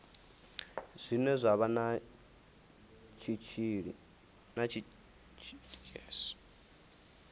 zwine zwa vha na tshitshili